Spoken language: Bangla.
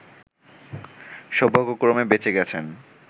সৌভাগ্যক্রমে বেঁচে গেছেন